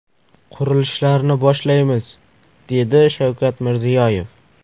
Qurilishlarni boshlaymiz”, dedi Shavkat Mirziyoyev.